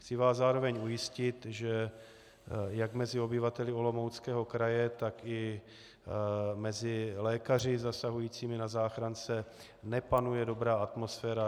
Chci vás zároveň ujistit, že jak mezi obyvateli Olomouckého kraje, tak i mezi lékaři zasahujícími na záchrance nepanuje dobrá atmosféra.